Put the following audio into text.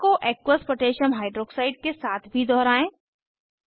प्रक्रिया को aqueous potassium Hydroxideaqकोह के साथ भी दोहराएं